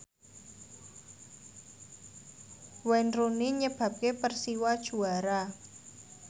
Wayne Rooney nyebabke Persiwa juara